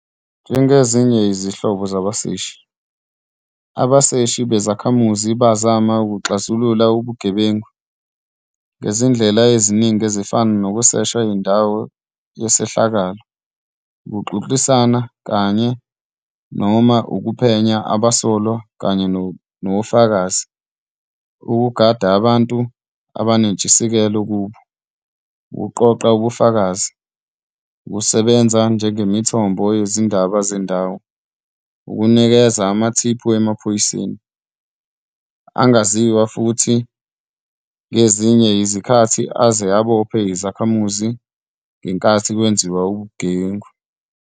Njengezinye izinhlobo zabaseshi, abaseshi bezakhamuzi bazama ukuxazulula ubugebengu ngezindlela eziningi ezifana nokusesha indawo yesehlakalo, ukuxoxisana kanye, noma ukuphenya abasolwa kanye nofakazi, ukugada abantu abanentshisekelo kubo, ukuqoqa ubufakazi, ukusebenza njengemithombo yezindaba zendawo, ukunikeza. amathiphu emaphoyiseni angaziwa futhi ngezinye izikhathi aze abophe izakhamuzi ngenkathi kwenziwa ubugebengu.